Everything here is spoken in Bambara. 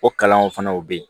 O kalanw fana u bɛ yen